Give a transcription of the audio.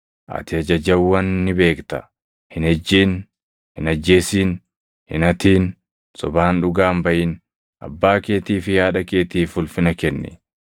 Ati ajajawwan ni beekta; ‘Hin ejjin; hin ajjeesin; hin hatin; sobaan dhugaa hin baʼin; abbaa keetii fi haadha keetiif ulfina kenni.’ + 18:20 \+xt Bau 20:12; KeD 5:16‑20\+xt* ”